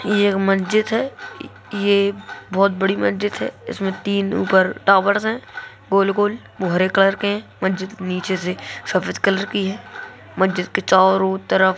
ये एक मस्जिद है ये बहुत बड़ी मस्जिद है| इसमें तीन ऊपर टावर्स है गोल-गोल व हरे कलर के मस्जिद नीचे से सफ़ेद कलर की है मस्जिद के चारों तरफ--